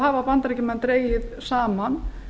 hafa bandaríkjamenn dregið saman